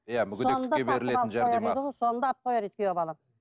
иә мүгедектікке берілетін жәрдемақы соны да алып қояр еді күйеу балам